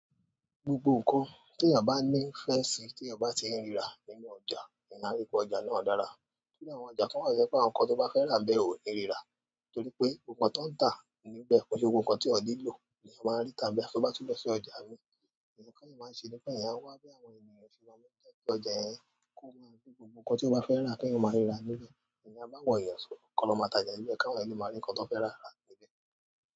Gbogbo nǹkan tí èèyàn bá ní ìfẹ́ ṣe tí èèyàn bá ṣe ń ríra nínú ọjà, mo maa n ri pe ọjà náà dára. Iru àwọn ọjà kan wà to je pé àwọn nǹkan tó bá fẹ́ rà bẹ́ẹ̀ ò ní rira? Torí pé gbogbo nǹkan tí ó ń tà níbẹ̀, kó ṣe gbogbo nǹkan teeyan nílò ni èèyàn máa rí afí a bá túbọ̀ lọ sí ọjà mi, nkna. Teeyan máa ń ṣe ni pé èèyàn wá bí àwọn ènìyàn ṣe máa mọ̀ pé kí ọjà yẹn kó máa gbé gbogbo nǹkan tí ó bá fẹ́ rà keeyan máa ríra níbẹ̀. Èèyàn báwon eeyan so kọ́ lọ máa tajẹ̀ níbẹ̀ káwọn èèyàn le máa rí nǹkan tó fẹ́ rà rà níbẹ̀.